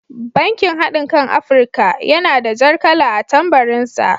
Bankin haɗinkan Afirika (United Bank for Africa) yana da jar kala a tambarin sa.